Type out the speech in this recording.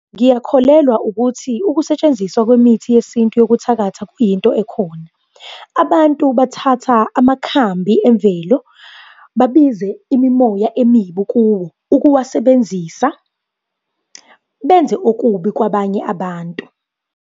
Ngiyakholelwa ukuthi ukusetshenziswa kwemithi yesintu yokuthakatha kuyinto ekhona. Abantu bathatha amakhambi emvelo, babize imimoya emibi kuwo ukuwasebenzisa, benze okubi kwabanye abantu.